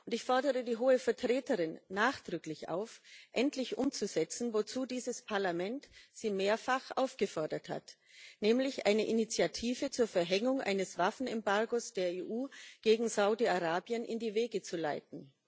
Ich fordere die Hohe Vertreterin nachdrücklich auf, endlich umzusetzen, wozu dieses Parlament sie mehrfach aufgefordert hat, nämlich eine Initiative zur Verhängung eines Waffenembargos der EU gegen Saudi Arabien in die Wege zu leiten.